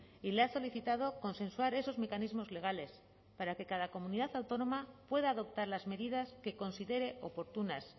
y le ha solicitado consensuar esos mecanismos legales para que cada comunidad autónoma pueda adoptar las medidas que considere oportunas